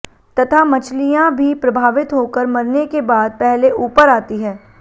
तथा मछलियां भी प्रभावित होकर मरने के बाद पहले ऊपर आती है